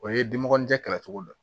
O ye dimɔgɔ ɲɛkatw la